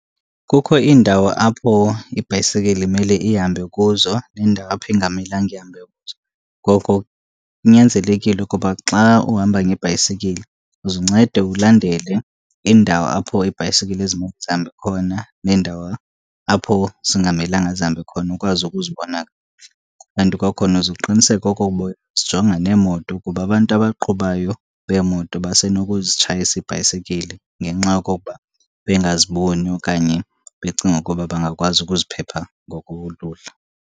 kukho indawo apho ibhayisekile imele ihambe kuzo neendawo apho ingamelanga ihambe kuzo. Ngoko kunyanzelekile ukuba xa uhamba ngebhayisekile uze uncede ulandele indawo apho iibhayisekile ezimele zihambe khona neendawo apho zingamelanga zihambe khona ukwazi ukuzibona kakuhle. Kanti kwakhona uzuqiniseka okokuba uyazijonga neemoto kuba abantu abaqhubayo beemoto basenozitshayisa iibhayisekile ngenxa yokokuba bengaziboni okanye becinga ukuba bangakwazi ukuziphepha ngokolula.